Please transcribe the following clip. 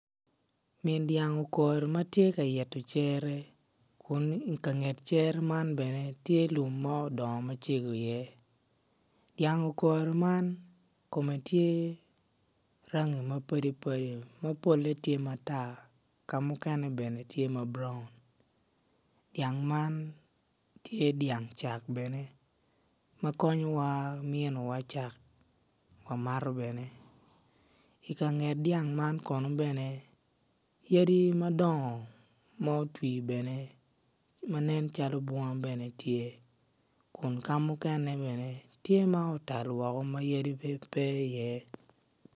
Min dyang okori matye ka ito cere kun ka nget cere man bene tye lum ma odongo macego i iye dyang okoro man kome tye rangi ma padi padi ma pole tye matar ka mukene bene tye ma brown dyang man tye dyang cak bene ma konyowa miniwa cak wamato bene i kanget dyang man kono bene yadi madongo ma otwi bene man nen calo bunga bene tye kun kamukene bene tye ma otal woko ma yadi pe i iye